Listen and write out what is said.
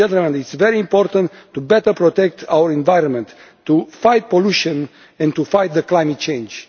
It is very important to better protect our environment, to fight pollution and to fight climate change.